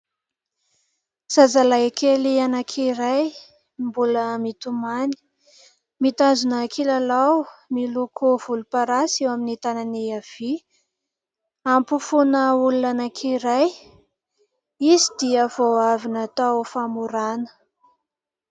Zazalahy kely anankiray mbola mitomany, mitazona kilalao miloko volomparasy eo amin'ny tanany havia ampofoan' olona anankiray ; izy dia vao avy natao famorana.